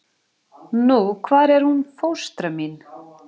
Nú hvar er hún fóstra mín?